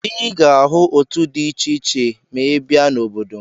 Ị ga-ahụ òtù dị iche iche ma ị bịa n'obodo m.